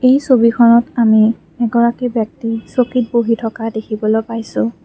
এই ছবিখনত আমি এগৰাকী ব্যক্তি চকীত বহি থকা দেখিবলৈ পাইছোঁ।